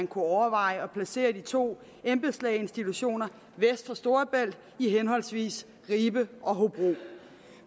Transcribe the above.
kunne overveje at placere de to embedslægeinstitutioner vest for storebælt i henholdsvis ribe og hobro